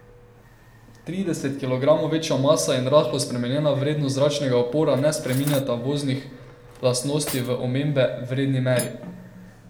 Trideset kilogramov večja masa in rahlo spremenjena vrednost zračnega upora ne spreminjata voznih lastnosti v omembe vredni meri.